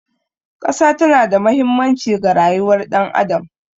Ƙasa tana da mahimmanci ga rayuwar ɗan adam.